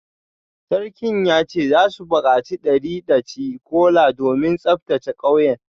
Sarkin ya ce za su bukaci dari daci-kola domin tsaftace kauyen